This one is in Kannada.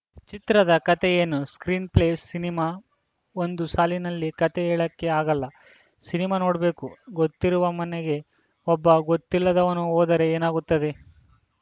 ಚಿತ್ರದ ಕತೆ ಏನು ಸ್ಕ್ರೀನ್‌ ಪ್ಲೇ ಸಿನಿಮಾ ಒಂದು ಸಾಲಿನಲ್ಲಿ ಕತೆ ಹೇಳಕ್ಕೆ ಆಗಲ್ಲ ಸಿನಿಮಾ ನೋಡಬೇಕು ಗೊತ್ತಿರುವ ಮನೆಗೆ ಒಬ್ಬ ಗೊತ್ತಿಲ್ಲದವನು ಹೋದರೆ ಏನಾಗುತ್ತದೆ